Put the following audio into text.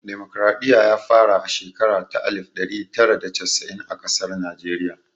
Damokaraɗiya ya fara a shekara ta alif ɗari tara da casa'in a ƙasar Najeriya